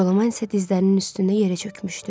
Jolaman isə dizlərinin üstündə yerə çökmüşdü.